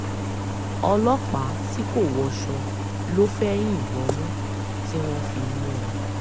ọlọ́pàá tí kò wọṣọ ló fẹ́ẹ́ yìnbọn mọ́ tí wọ́n fi mú un